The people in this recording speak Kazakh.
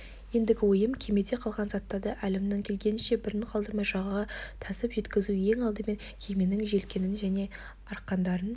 ендігі ойым кемеде қалған заттарды әлімнің келгенінше бірін қалдырмай жағаға тасып жеткізу ең алдымен кеменің желкенін және арқандарын